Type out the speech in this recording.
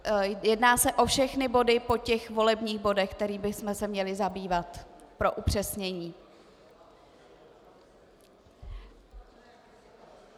Jedná se o všechny body po těch volebních bodech, kterými bychom se měli zabývat, pro upřesnění.